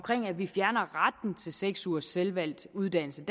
at vi fjerner retten til seks ugers selvvalgt uddannelse